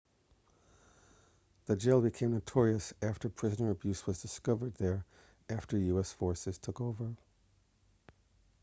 the jail became notorious after prisoner abuse was discovered there after us forces took over